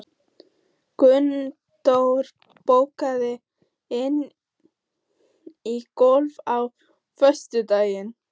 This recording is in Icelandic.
Gunndór, bókaðu hring í golf á föstudaginn.